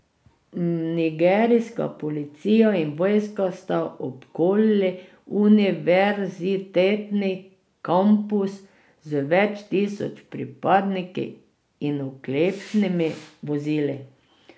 Nigerijska policija in vojska sta obkolili univerzitetni kampus z več tisoč pripadniki in oklepnimi vozili.